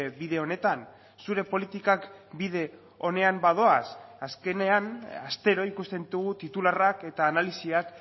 bide honetan zure politikak bide onean badoaz azkenean astero ikusten ditugu titularrak eta analisiak